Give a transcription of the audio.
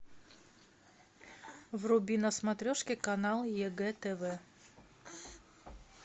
вруби на смотрешки канал егэ тв